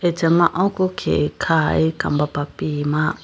acha ma oko khege khaye kambapa pima.